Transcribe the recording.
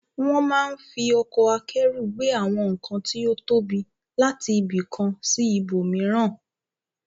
Wọ́n máa ń fi ọkọ̀ akẹ́rù gbé àwọn nǹkan tí ó tóbi láti ibi kan sí ibòmíràn.